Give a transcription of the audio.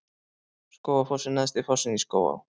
Skógafoss er neðsti fossinn í Skógaá.